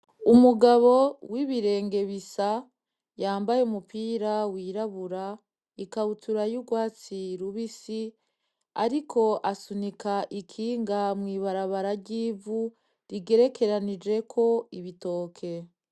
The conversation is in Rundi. Umugabo w'ibirenge bisa yambaye umupira wirabura, ikabutura yurwatsi rubisi ariko asunika ikinga mw'ibarabara ryivu , rigerekeranijeko ibitoke.